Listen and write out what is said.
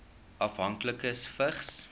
afhanklikes vigs